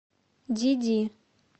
диди